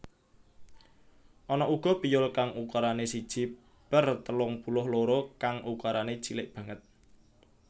Ana uga piyul kang ukurané siji per telung puluh loro kang ukurané cilik banget